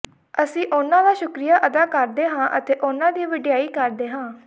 ਅਸੀਂ ਉਨ੍ਹਾਂ ਦਾ ਸ਼ੁਕਰੀਆ ਅਦਾ ਕਰਦੇ ਹਾਂ ਅਤੇ ਉਨ੍ਹਾਂ ਦੀ ਵਡਿਆਈ ਕਰਦੇ ਹਾਂ